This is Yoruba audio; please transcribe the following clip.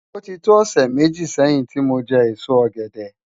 Oti tó òsè méji sèyin ti mó jè ésó ògèdè